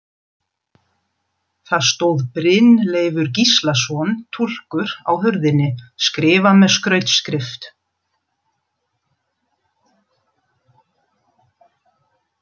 Það stóð Brynleifur Gíslason, túlkur, á hurðinni, skrifað með skrautskrift.